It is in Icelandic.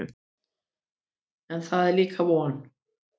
En það er líka von.